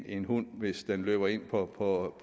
en hund hvis den løber ind på på